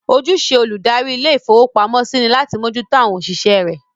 Ojúṣe olùdarí ilé-ìfowópamọ́sí ni láti mójú tó àwọn òṣìṣẹ́ rẹ̀.